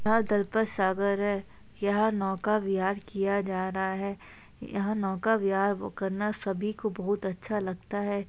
दलपत सागर है यहाँ नौका बिहार किया जा रहा है यहाँ नौका बिहार करना सभी को बहुत अच्छा लगता है।